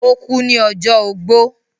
ó kú ní ọjọ́ ogbó.